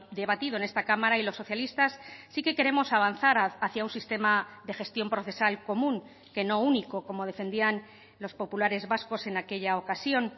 debatido en esta cámara y los socialistas sí que queremos avanzar hacia un sistema de gestión procesal común que no único como defendían los populares vascos en aquella ocasión